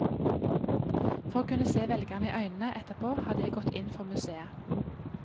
For å kunne se velgerne i øynene etterpå hadde jeg gått inn for museet.